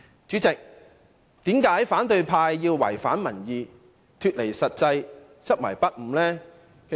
主席，為何反對派偏要違反民意，脫離現實，執迷不悟呢？